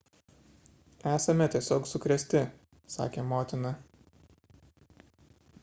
esame tiesiog sukrėsti – sakė motina